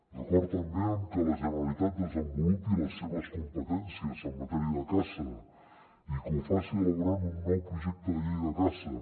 d’acord també amb que la generalitat desenvolupi les seves competències en matèria de caça i que ho faci ela·borant un nou projecte de llei de caça